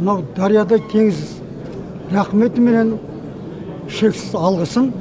мынау дариядай теңіз рахметіменен шексіз алғысым